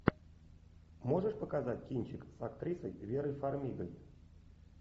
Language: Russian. можешь показать кинчик с актрисой верой фармигой